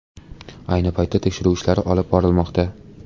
Ayni paytda tekshiruv ishlari olib borilmoqda.